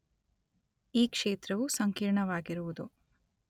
ಈ ಕ್ಷೇತ್ರವು ಸಂಕೀರ್ಣವಾಗಿರುವುದು